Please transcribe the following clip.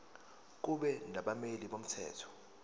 kube nabameli bomthetho